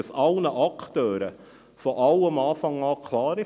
Dann ist allen Akteuren von Beginn weg klar: